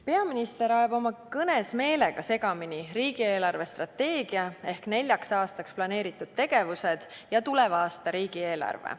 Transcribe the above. Peaminister ajab oma kõnes meelega segamini riigi eelarvestrateegia ehk neljaks aastaks planeeritud tegevused ja tuleva aasta riigieelarve.